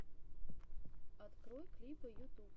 открой клипы ютуб